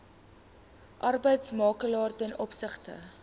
arbeidsmakelaar ten opsigte